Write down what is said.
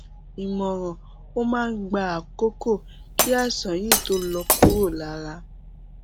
ìmọràn ó máa ń gba àkókò kí àìsàn yìí tó lọ kúrò lára